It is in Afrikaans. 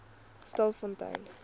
stilfontein